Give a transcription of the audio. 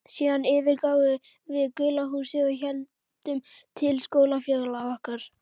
Síðan yfirgáfum við gula húsið og héldum til skólafélaga okkar.